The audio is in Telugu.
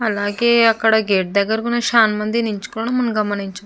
అలాగే అక్కడ గేట్ దగ్గర కూడ చాన మంది నించుకొని మనం గమనించ --